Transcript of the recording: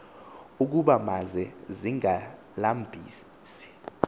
ukuba maze zingazilambisi